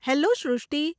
Hello Srushti !